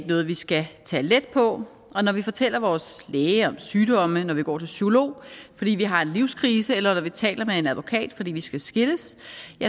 noget vi skal tage let på når vi fortæller vores læge om sygdomme når vi går til psykolog fordi vi har en livskrise eller når vi taler med en advokat fordi vi skal skilles